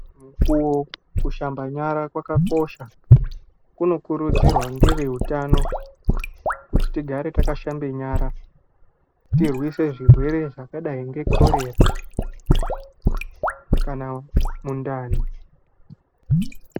Kushamba nyara kwakakosha kunokuridzirwa ngeveutano kuti tigare takashamba nyara tirwise zvirwe zvkadai nekorera kana mundani.